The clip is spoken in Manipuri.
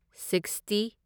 ꯁꯤꯛꯁꯇꯤ